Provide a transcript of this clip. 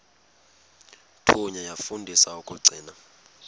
thunywa yafundiswa ukugcina